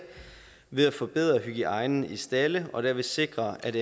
ved at forbedre hygiejnen i stalde og derved sikre at